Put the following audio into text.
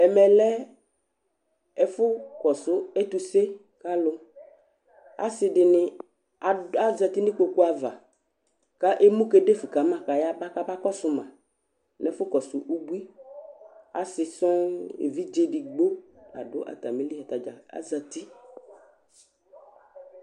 Ɛmɛlɛ ɛfu kɔsu ɛtuse kʋ alu Asiɖìŋí azɛti ŋu ikpoku ava kʋ emu kedefu kama kʋ ayaba kama kɔsuma ŋu ɛfu kɔsu ʋbui Asi sɔɔ, evidze ɛɖigbo la ɖu atamìli Atadza azɛti